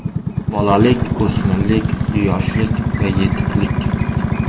Bolalik, o‘smirlik, yoshlik va yetuklik.